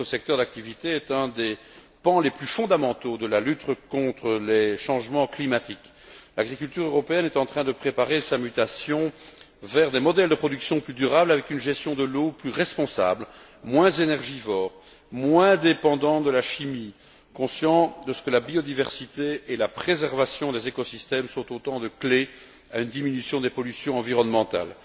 Or, ce secteur d'activité est un des pans les plus fondamentaux de la lutte contre les changements climatiques. L'agriculture européenne est en train de préparer sa mutation vers des modèles de production plus durables, avec une gestion de l'eau plus responsable, des modèles moins énergivores, moins dépendants de la chimie, consciente qu'elle est de ce que la biodiversité et la préservation des écosystèmes sont autant de clés à une diminution des pollutions environnementales.